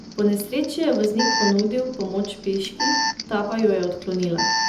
Po nesreči je voznik ponudil pomoč peški, ta pa jo je odklonila.